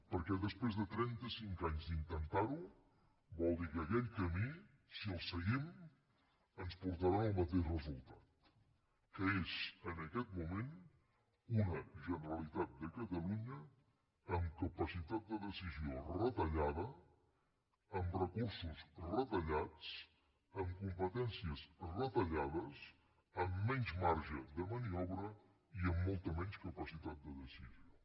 perquè després de trenta cinc anys d’intentar ho vol dir que aquell camí si el seguim ens portarà al mateix resultat que és en aquest moment una generalitat de catalunya amb capacitat de decisió retallada amb recursos retallats amb competències retallades amb menys marge de maniobra i amb molta menys capacitat de decisió